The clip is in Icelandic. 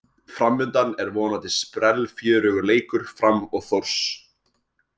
Framundan er vonandi sprellfjörugur leikur Fram og Þórs.